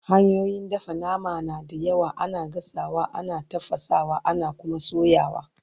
hanyoyin dafa nama na da yawa, ana gasawa, ana tafasawa, ana Kuma soyawa